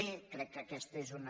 crec que aquesta és una